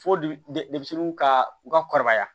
Fo denmisɛnninw ka u ka kɔrɔbaya